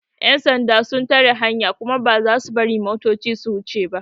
Yan sanda sun tare hanya kuma ba za su bari motocin su wuce ba.